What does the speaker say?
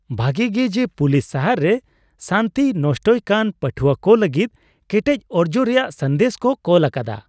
ᱵᱷᱟᱜᱮ ᱜᱮ, ᱡᱮ ᱯᱩᱞᱤᱥ ᱥᱟᱦᱟᱨ ᱨᱮ ᱥᱟᱹᱱᱛᱤ ᱱᱚᱥᱴᱚᱭᱮᱫ ᱠᱟᱱ ᱯᱟᱹᱴᱦᱩᱣᱟᱹ ᱠᱚ ᱞᱟᱹᱜᱤᱫ ᱠᱮᱴᱮᱡ ᱚᱨᱡᱚ ᱨᱮᱭᱟᱜ ᱥᱟᱸᱫᱮᱥ ᱠᱚ ᱠᱳᱞ ᱟᱠᱟᱫᱟ ᱾